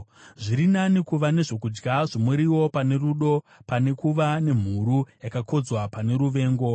Zviri nani kuva nezvokudya zvomuriwo pane rudo, pane kuva nemhuru yakakodzwa pane ruvengo.